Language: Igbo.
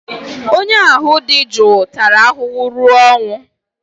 onye ahụ dị jụụ tara ahụhụ ruo ọnwụ